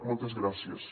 moltes gràcies